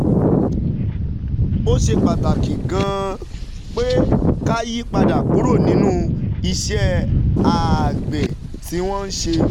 Ó ṣe pàtàkì gan-an pé ká yí padà kúrò nínú iṣẹ́ àgbẹ̀ tí wọ́n ń ṣe